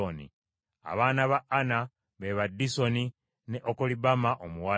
Abaana ba Ana be ba Disoni ne Okolibama omuwala.